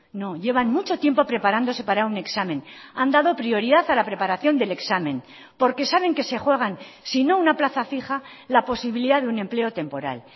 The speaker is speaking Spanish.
no llevan mucho tiempo preparándose para un examen han dado prioridad a la preparación del examen porque saben que se juegan si no una plaza fija la posibilidad de un empleo temporal